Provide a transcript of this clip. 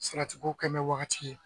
Sarati ko kɛ wagati ye